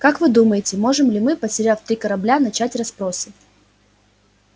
как вы думаете можем ли мы потеряв три корабля начать расспросы